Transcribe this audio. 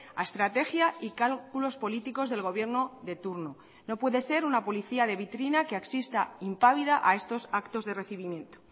a estrategia y cálculos políticos del gobierno de turno no puede ser una policía de vitrina que asista impávida a estos actos de recibimiento